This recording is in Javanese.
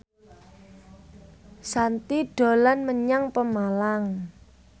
Shanti dolan menyang Pemalang